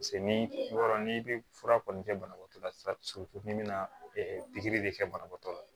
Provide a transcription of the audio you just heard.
ni yɔrɔ n'i bɛ fura kɔni kɛ banabagatɔ la sisan n'i bɛna pikiri de kɛ banabaatɔ la